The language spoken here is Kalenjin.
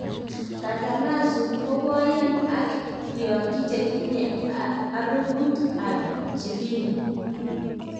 Casamarzu kokoyaan ak kiayik, chetinye aruput ap jibini